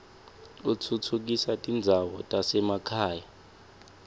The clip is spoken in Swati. utfutfukisa tindzawo tasemakhaya